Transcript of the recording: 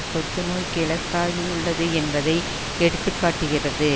தொத்து நோய்க்கு இலக்காகியுள்ளது என்பதை எடுத்து காட்டுகிறது